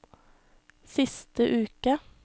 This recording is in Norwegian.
siste uke